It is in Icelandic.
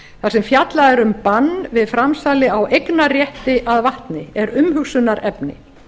þar sem fjallað er um bann við framsali á eignarrétti að vatni er umhugsunarefni